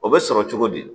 O bɛ sɔrɔ cogo di